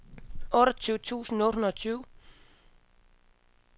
otteogtyve tusind otte hundrede og tyve